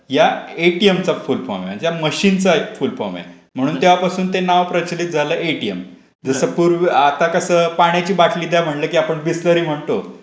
या एटीएमचा full form आहे. मशीनचा फुल फॉर्म आहे. म्हणून त्यापासून नाव प्रचलित झाले एटीएम. जस पूर आता कसं पाण्याची बाटली द्या म्हटलं की आपण बिसलरी म्हणतो.